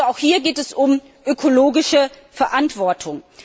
Also auch hier geht es um ökologische Verantwortung.